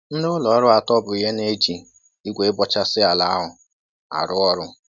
Ndị ụlọ ọrụ atọ bụ ihe na-eji igwe ịbọchasị ala ahụ arụ ọrụ